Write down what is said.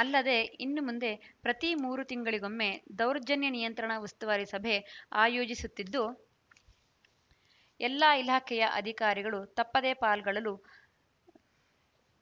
ಅಲ್ಲದೆ ಇನ್ನು ಮುಂದೆ ಪ್ರತಿ ಮೂರು ತಿಂಗಳಿಗೊಮ್ಮೆ ದೌರ್ಜನ್ಯ ನಿಯಂತ್ರಣ ಉಸ್ತುವಾರಿ ಸಭೆ ಆಯೋಜಿಸುತ್ತಿದ್ದು ಎಲ್ಲ ಇಲಾಖೆಯ ಅಧಿಕಾರಿಗಳು ತಪ್ಪದೆ ಪಾಲ್ಗೊಳ್ಳಲು